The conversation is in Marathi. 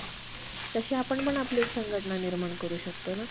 मतानुन्यायी अमेरिकन व कांस उपदेशांची त्या त्या सरकारची काडीमात्र परवा न करता. या देशात येऊन